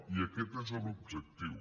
i aquest és l’objectiu